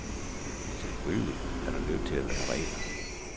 Selvfølgelig er der nødt til at være regler.